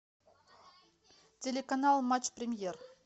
телеканал матч премьер